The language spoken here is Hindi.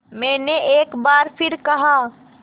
मैंने एक बार फिर कहा